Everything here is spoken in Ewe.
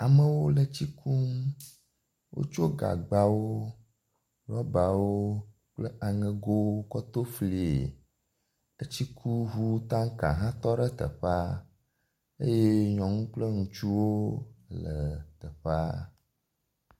amewo le tsi kum wótsɔ gagbawo rɔbawo kple aŋegowo kɔ toflie etsikuʋu tanka hã tɔɖe teƒea eye nyɔŋu kple ŋutsuwo le teƒea